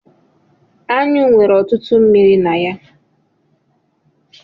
Anyụ nwere ọtụtụ mmiri na ya.